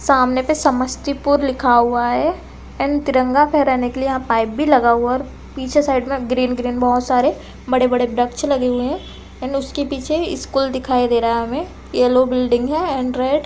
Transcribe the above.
सामने पे समस्तीपुर लिखा हुआ है एंड तिरंगा फहराने के लिए यहां पाइप भी लगा हुआ है और पीछे के साइड पे ग्रीन -ग्रीन बहोत सारे व्रक्ष् लगे है एंड उसके पीछे स्कूल दिखाई दे रहा है हमे येलो बिल्डिंग है एंड रेड --